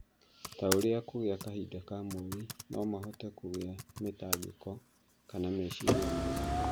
ta ũrĩa kũrĩkia kahinda ka mweri no mahote kũgĩa mĩtangĩko kana meciria maingĩ.